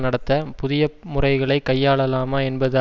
நடத்த புதிய முறைகளை கையாளலாமா என்பது